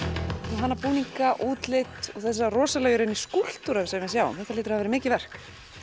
þú hannar búninga útlit og þessa rosalega í rauninni skúlptúra sem við sjáum þetta hlýtur að hafa verið mikið verk